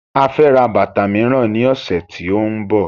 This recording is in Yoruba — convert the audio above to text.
A fẹ́ ra bàtà miran ní ọ̀sẹ̀ tí ó ń bọ̀.